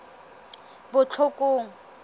botlhokong